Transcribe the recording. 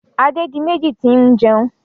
Adédiméjì ti ń jẹun.